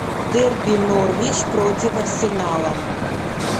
дерби норвич против арсенала